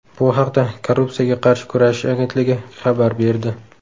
Bu haqda Korrupsiyaga qarshi kurashish agentligi xabar berdi .